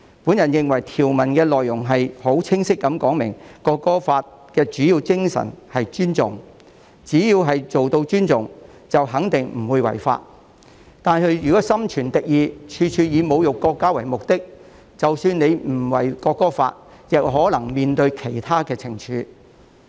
我認為條文內容已很清晰地說明，《國歌法》的主要精神是尊重，只要做到尊重，便肯定不會違法，但如果心存敵意，處處以侮辱國家為目的，即使不違反《國歌法》，亦可能須面對其他懲處。